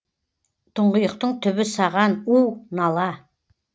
тұңғиықтың түбі саған у нала